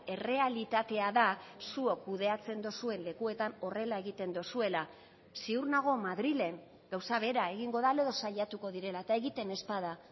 errealitatea da zuok kudeatzen duzuen lekuetan horrela egiten duzuela ziur nago madrilen gauza bera egingo dela edo saiatuko direla eta egiten ez bada